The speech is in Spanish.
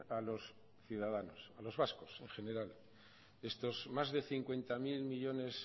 a los ciudadanos a los vascos en general estos más de cincuenta mil millónes